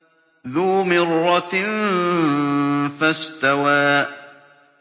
ذُو مِرَّةٍ فَاسْتَوَىٰ